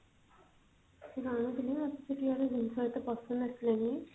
ସେଠୁ ଅଣୁଥିଲି ନା ତ ସେଠିକାର ଜିନିଷ ଏତେ ପସନ୍ଦ ଆସିଲାନି